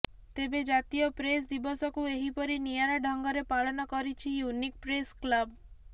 ତେବେ ଜାତୀୟ ପ୍ରେସ୍ ଦିବସକୁ ଏହିପରି ନିଆରା ଢଙ୍ଗରେ ପାଳନ କରିଛି ୟୁନିକ୍ ପ୍ରେସ କ୍ଲବ